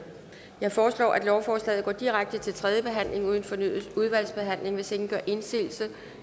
jeg foreslår at lovforslaget går direkte til tredje behandling uden fornyet udvalgsbehandling hvis ingen gør indsigelse